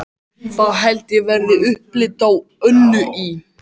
Það held ég verði upplit á Önnu í